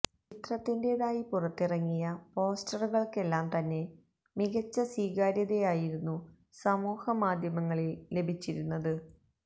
ചിത്രത്തിന്റെതായി പുറത്തിറങ്ങിയ പോസ്റ്ററുകള്ക്കെല്ലാം തന്നെ മികച്ച സ്വീകാര്യതയായിരുന്നു സമൂഹ മാധ്യമങ്ങളില് ലഭിച്ചിരുന്നത്